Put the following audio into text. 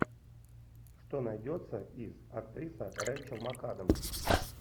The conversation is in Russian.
что найдется из актриса рэйчел макадамс